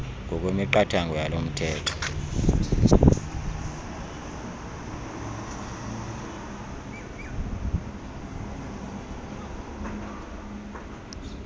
ngokwemiqathango yalo mthetho